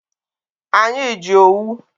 Anyị ji owu.